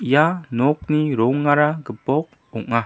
ia nokni rongara gipok ong·a.